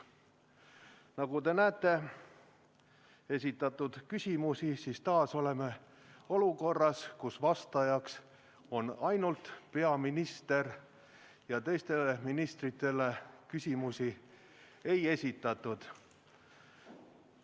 Nagu te näete esitatud küsimustest, me oleme taas olukorras, kus vastajaks on ainult peaminister ja teistele ministritele küsimusi ei ole esitatud.